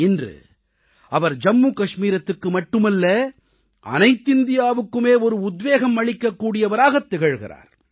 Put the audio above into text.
இன்று அவர் ஜம்மு கஷ்மீரத்துக்கு மட்டுமல்ல அனைத்திந்தியாவுக்குமே ஒரு உத்வேகம் அளிக்கக் கூடியவராகத் திகழ்கிறார்